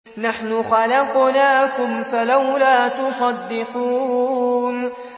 نَحْنُ خَلَقْنَاكُمْ فَلَوْلَا تُصَدِّقُونَ